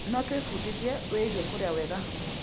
No twĩbundithie wĩgiĩ kũrĩa wega hamwe.